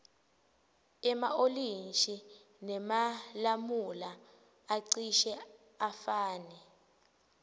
ema olintji nemalamula acishe afane